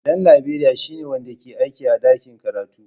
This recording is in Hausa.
Dan Laberiya shine wanda ke aiki a ɗakin karatu.